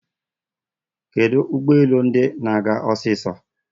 Kedu ụgbọelu ndi na-aga osiso?